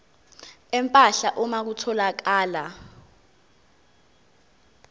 empahla uma kutholakala